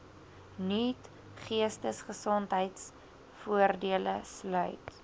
nuut geestesgesondheidvoordele sluit